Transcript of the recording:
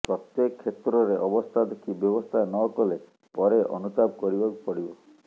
ପ୍ରତ୍ୟେକ କ୍ଷେତ୍ରରେ ଅବସ୍ଥା ଦେଖି ବ୍ୟବସ୍ଥା ନ କଲେ ପରେ ଅନୁତାପ କରିବାକୁ ପଡିବ